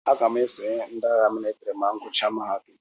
Aga m esonye ndị agha mịlịtrị ma m gụchaa mahadum.